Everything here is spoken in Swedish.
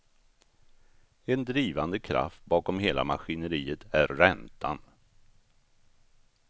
En drivande kraft bakom hela maskineriet är räntan.